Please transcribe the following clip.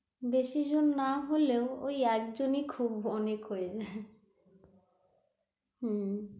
বেশি জন না হলেও, ওই একজনই খুব অনেক হয়ে যায় হম